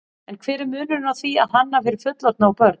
En hver er munurinn á því að hanna fyrir fullorðna og börn?